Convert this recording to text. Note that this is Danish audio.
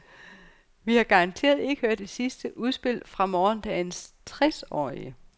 Vi har garanteret ikke hørt det sidste udspil fra morgendagens tresårige.